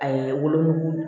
A ye wolonugu